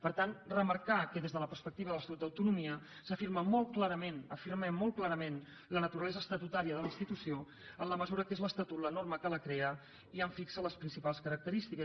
per tant remarcar que des de la perspectiva de l’estatut d’autonomia s’afirma molt clarament afirmem molt clarament la naturalesa estatutària de la institució en la mesura que és l’estatut la norma que la crea i en fixa les principals característiques